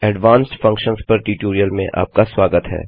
advanced functions पर tutorial में आपका स्वागत है